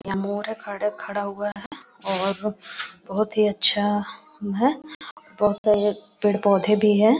यहाँ मोर है खड़े खड़ा हुआ है और बहुत ही अच्छा बहुत ही पेड़-पौधे भी हैं।